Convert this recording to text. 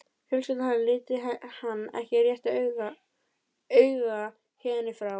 Fjölskylda hennar liti hann ekki réttu auga héðan í frá.